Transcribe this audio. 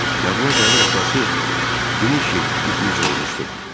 Yadına gəlir atası iki il iflic olmuşdu.